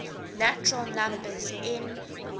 natural numbers n